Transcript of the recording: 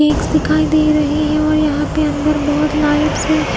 Cakes दिखाई दे रहे हैं और यहां पे अंदर बहुत लाइट्स ।